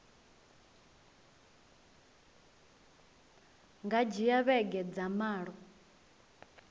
nga dzhia vhege dza malo